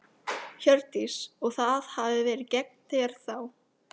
Hjördís: Og það hafi verið gegn þér þá?